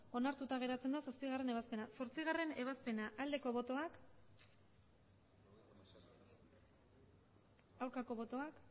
onartuta geratzen da zazpigarrena ebazpena zortzigarrena ebazpena aldeko botoak aurkako botoak